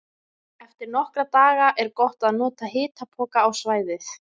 Eftir nokkra daga er gott að nota hitapoka á svæðið.